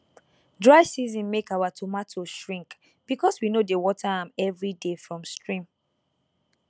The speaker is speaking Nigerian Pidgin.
dry season make our tomato shrink because we no dey water am every day from stream